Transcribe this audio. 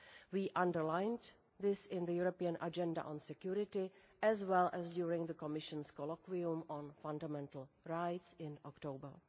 We underlined this in the European Agenda on Security as well as during the Commission's Colloquium on Fundamental Rights in October.